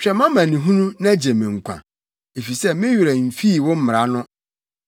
Hwɛ mʼamanehunu na gye me nkwa efisɛ me werɛ mfii wo mmara no.